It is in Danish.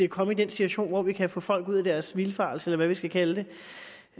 komme i den situation hvor vi kan få folk ud af deres vildfarelse eller hvad vi skal kalde